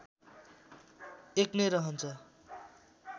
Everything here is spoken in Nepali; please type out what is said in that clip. १ नै रहन्छ